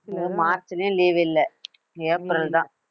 மார்ச்லயே leave இல்லை April தான்